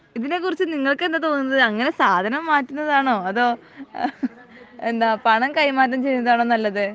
ഇതിനെ കുറിച്ച് നിങ്ങൾക്കെന്താ തോന്നുന്നത് അങ്ങിനെ സാധനം മാറ്റുന്നതാണോ അതോ എന്താ പണം കൈമാറ്റം ചെയ്യുന്നതാണോ നല്ലത്